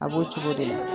A b'o cogo de la